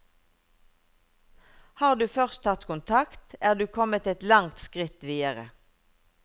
Har du først tatt kontakt, er du kommet et langt skritt videre.